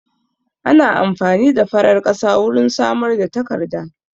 Ana amfani da farar ƙasa wurin samar da takarda